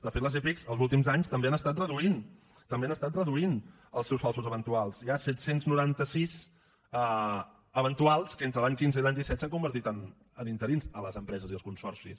de fet les epic els últims anys també han estat reduint els seus falsos eventuals hi ha set cents i noranta sis eventuals que entre l’any quinze i l’any disset s’han convertit en interins a les empreses i els consorcis